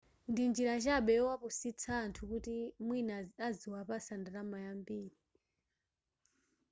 ndi njira chabe yowapusitsa anthu kuti mwina adziwapatsa ndalama yambiri